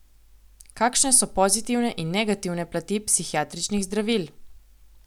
Kakšne so pozitivne in negativne plati psihiatričnih zdravil?